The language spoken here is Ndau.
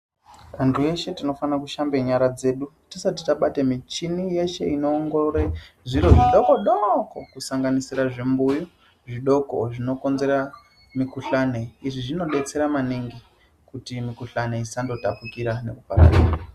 Antu eshe tinofane kushambe nyara dzedu tisati tabate michini yese inoongorore zviro zvidoko doko kusanganisira zvimbuyu zvidoko zvinokonzera mukhuhlane izvi zvinodetsera maningi kuti mikhuhlane isandotapukira.